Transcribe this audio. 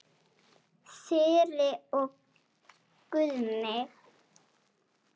Þyri og Guðni.